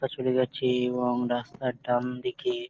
চলে যাচ্ছে এবং রাস্তার ডানদিকে --